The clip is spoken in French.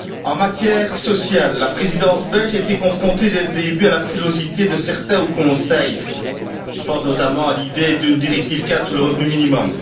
En matière sociale, la Présidence belge a été confrontée, dès le début, à la frilosité de certains au Conseil je pense notamment à l'idée d'une directive cadre sur le revenu minimum.